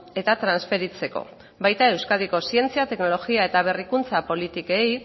eta transferitzeko baita euskadiko zientzia teknologia eta berrikuntza politikei